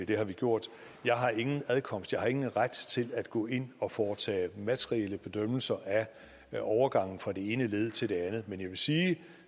det har vi gjort jeg har ingen adkomst og ingen ret til at gå ind og foretage materielle bedømmelser af overgangen fra det ene led til det andet men jeg vil sige at det